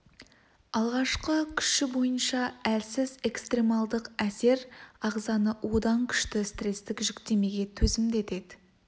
алғашқы күші бойынша әлсіз экстремалдық әсер ағзаны одан күшті стрестік жүктемеге төзімді етеді